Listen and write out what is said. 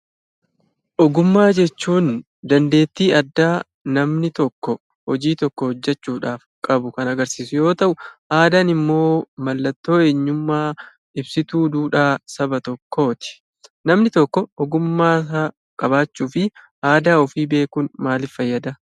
Ogummaa jechuun dandeettii addaa namni tokko hojii tokko hojjechuudhaaf qabu kan agarsiisu yoo ta'u, aadaan immoo mallattoo eenyummaa ibsituu duudhaa saba tokkooti. Namni tokko ogummasaa qabaachuu fi aadaa ofii beekuun maaliif fayyadaa?